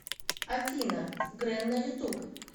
афина грэн на ютуб